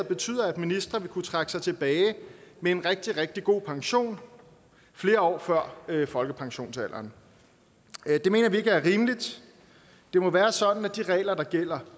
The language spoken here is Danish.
betyder at ministre vil kunne trække sig tilbage med en rigtig rigtig god pension flere år før folkepensionsalderen det mener vi ikke er rimeligt det må være sådan at de regler der gælder